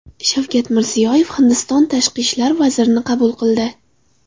Shavkat Mirziyoyev Hindiston tashqi ishlar vazirini qabul qildi.